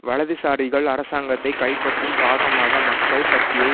வலதுசாரிகள் அரசாங்கத்தை கைப்பற்றும் பாகமாக மக்கள் சக்தியை